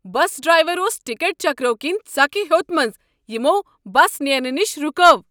بس driver اوس ticket چیکرو كِنۍ ژکھِ ہوٚت منز یِمو بس نیرنہٕ نشہِ رکٲو۔